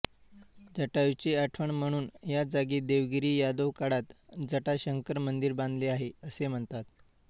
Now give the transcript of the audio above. जटायूची आठवण म्हणून या जागी देवगिरी यादव काळात जटाशंकर मंदिर बांधले आहे असे म्हणतात